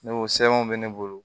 Ne o sɛbɛnw bɛ ne bolo